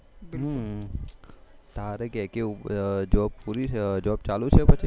તારે કે કેવું જોબ પૂરી જોબ ચાલુ છે કે પછી